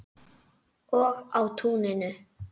Og á túninu.